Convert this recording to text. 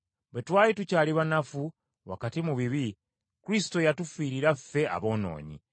Bwe twali tukyali banafu wakati mu bibi, Kristo yatufiirira ffe aboonoonyi.